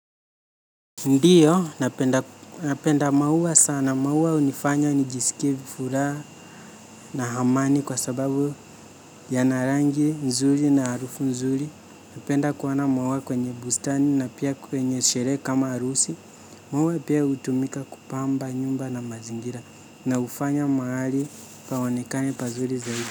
Ndio, napenda maua sana, maua hunifanya nijiskie furaha na amani kwa sababu yana rangi nzuri na harufu nzuri. Napenda kuoana maua kwenye bustani na pia kwenye sherehe kama harusi. Maua pia hutumika kupamba nyumba na mazingira, na hufanya mahali paonekane pazuri zaidi.